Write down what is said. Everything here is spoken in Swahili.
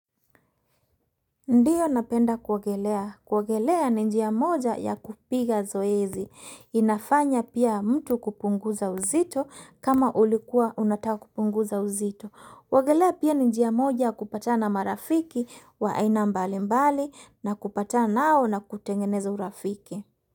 Ndiyo napenda kuogelea. Kuogelea ni njia moja ya kupiga zoezi. Inafanya pia mtu kupunguza uzito kama ulikua unataka kupunguza uzito. Kuogelea pia ni njia moja ya kupatana marafiki wa aina mbali mbali na kupatana nao na kutengeneza urafiki.